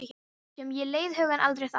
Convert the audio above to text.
Sem ég leiði hugann aldrei að.